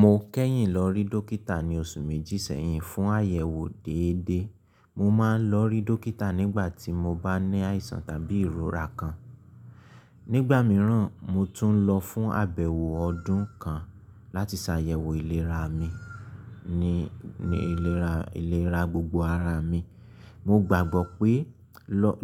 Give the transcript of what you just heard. Mo kẹ́yìn lọ rí dọ́kítà ní oṣù méjì sẹ́yìn fún àyẹ̀wò dédé. Mo máa ń lọ rí dọ́kítà nígbà tí mo bá ní àìsàn tàbí ìrora kan. Nígbà mìíràn, mo tún lọ fún àbẹ̀wò ọdún kan láti ṣàyẹ̀wò ìlera mi ní ìlera gbogbo ara mi. Mo gbàgbọ́ pé